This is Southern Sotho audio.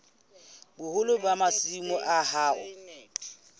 boholo ba masimo a hao